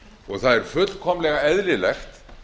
og það er fullkomlega eðlilegt